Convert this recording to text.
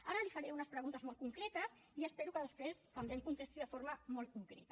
ara li faré unes preguntes molt concretes i espero que després també em contesti de forma molt concreta